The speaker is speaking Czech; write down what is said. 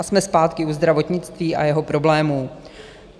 A jsme zpátky u zdravotnictví a jeho problémů.